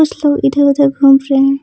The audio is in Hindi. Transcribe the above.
कुछ लोग इधर उधर घूम रहे हैं।